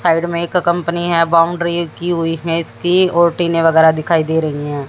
Side में एक company है बाउंड्री की हुई है इसकी और टीने वगैरह दिखाई दे रही है।